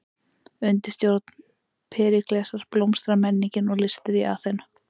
Undir stjórn Períklesar blómstraði menningin og listir í Aþenu.